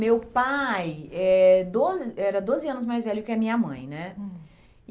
Meu pai é do era doze anos mais velho que a minha mãe, né? Hum